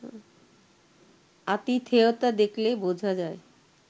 আতিথেয়তা দেখলে বোঝা যায়